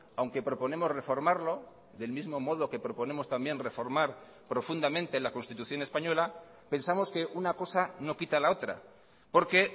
aunque proponemos reformarlo del mismo modo que proponemos también reformar profundamente la constitución española pensamos que una cosa no quita la otra porque